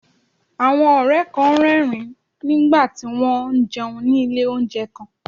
Àwọn ọ̀rẹ́ kan ń rẹ́rìn-ín pa pọ̀ nígbà tí wọ́n ń jẹun ní ilé oúnjẹ kan